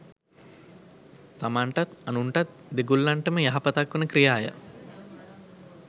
තමන්ටත් අනුන්ටත් දෙගොල්ලන්ටම යහපතක් වන ක්‍රියාය.